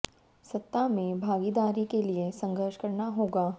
सत्ता में भागीदारी के लिए संघर्ष करना होगा